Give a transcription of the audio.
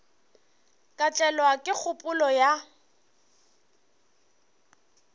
ka tlelwa ke kgopolo ya